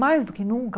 Mais do que nunca?